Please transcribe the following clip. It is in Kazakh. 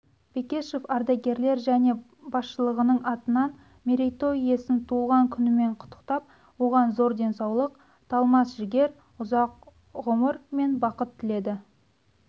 бекешев ардагерлер және басшылығының атынан мерейтой иесін туылған күнімен құттықтап оған зор денсаулық талмас жігер ұзақ ғұмыр мен бақыт тіледі